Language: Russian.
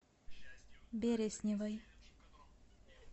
бересневой